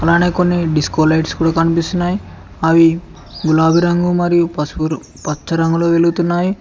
అలానే కొన్ని disco lights కూడా కనిపిస్తున్నాయ్ అవి గులాబీ రంగు మరియు పసుపుర్ పచ్చ రంగులో వెలుగుతున్నాయి.